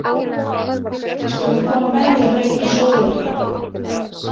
Við skulum koma með þér að leita að sólinni.